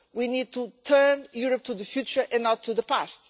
We need to turn Europe to the future and not to the past.